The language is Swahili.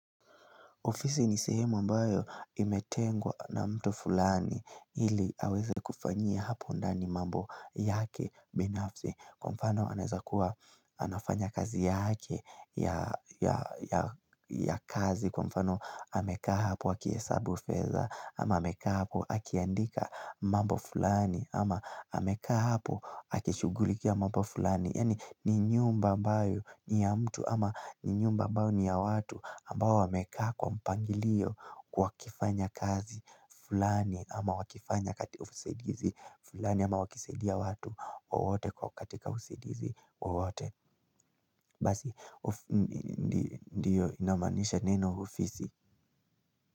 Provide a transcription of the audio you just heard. Ofisi ni sehemu ambayo imetengwa na mtu fulani ili aweze kufanyia hapo ndani mambo yake binafsi. Kwa mfano anaezakuwa anafanya kazi yake ya kazi. Kwa mfano amekaa hapo akihesabu fedha ama amekaa hapo akiandika mambo fulani ama amekaa hapo akishugulikia mambo fulani. Yani ni nyumba ambayo ni ya mtu ama ni nyumba ambayo ni ya watu ambao wameka kwa mpangilio wakifanya kazi fulani ama wakifanya katika usaidizi fulani ama wakisaidia watu wowote kwa katika usaidizi wowote. Basi, ndiyo inamaanisha neno ofisi.